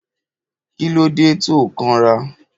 Kílódé to kan rà.?